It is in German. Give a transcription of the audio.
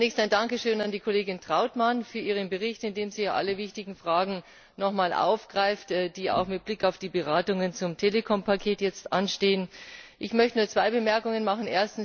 Zunächst ein Dankeschön an die Kollegin Trautmann für ihren Bericht, in dem sie alle wichtigen Fragen nochmals aufgreift, die auch mit Blick auf die Beratungen zum Telekom Paket jetzt anstehen. Ich möchte nur zwei Bemerkungen machen.